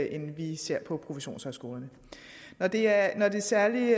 end vi ser på professionshøjskolerne når det er særlig